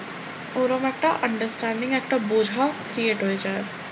ওরম একটা understanding একটা বোঝা create হয়ে যায়।